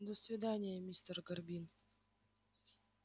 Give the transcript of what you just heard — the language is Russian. до свидания мистер горбин